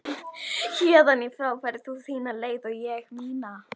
Héðan í frá ferð þú þína leið og ég mína.